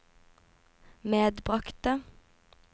medbragte